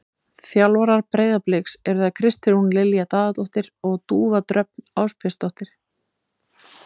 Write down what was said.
Þjálfarar Breiðabliks eru þær Kristrún Lilja Daðadóttir og Dúfa Dröfn Ásbjörnsdóttir.